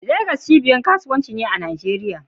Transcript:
Legas cibiyar kasuwanci ce a Najeriya